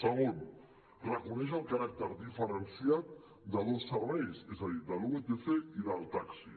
segon reconeix el caràcter diferenciat de dos serveis és a dir del vtc i del taxi